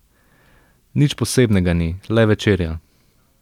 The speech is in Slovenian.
Nič posebnega ni, le večerja.